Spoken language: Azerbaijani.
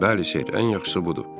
Bəli, Seyd, ən yaxşısı budur.